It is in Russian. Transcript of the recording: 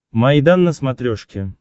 майдан на смотрешке